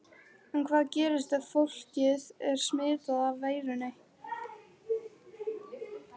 En hvað gerist ef fólkið er smitað af veirunni?